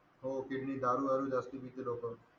हो kidney दारू दारू जास्ती पिते लोक.